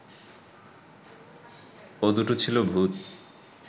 ও দুটো ছিল ভুত